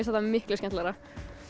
þetta miklu skemmtilegra